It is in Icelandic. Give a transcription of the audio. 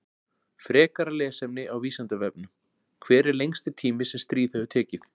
Frekara lesefni á Vísindavefnum: Hver er lengsti tími sem stríð hefur tekið?